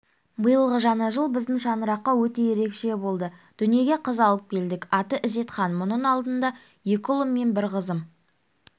биылғы жаңа жыл біздің шаңыраққа өте ерекше болды дүниеге қыз алып келдік аты ізетхан бұның алдында екі ұлым мен бір қызым